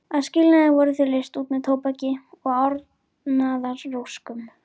Að skilnaði voru þau leyst út með tóbaki og árnaðaróskum.